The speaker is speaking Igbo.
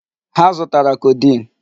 Ha zụtara codeine.